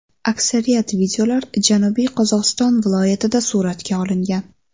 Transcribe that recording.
Aksariyat videolar Janubiy Qozog‘iston viloyatida suratga olingan.